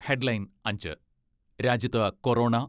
headline അഞ്ച്, രാജ്യത്ത് corona